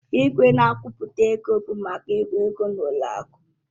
Igwe na-agụpụta ego bụ maka ịgụ ego n'ụlọ akụ.